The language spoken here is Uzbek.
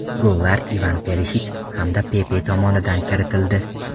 Gollar Ivan Perishich hamda Pepe tomonidan kiritildi.